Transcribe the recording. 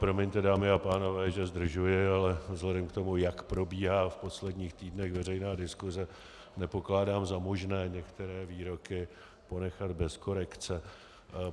Promiňte, dámy a pánové, že zdržuji, ale vzhledem k tomu, jak probíhá v posledních týdnech veřejná diskuse, nepokládám za možné některé výroky ponechat bez korekce.